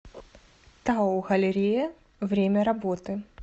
тау галерея время работы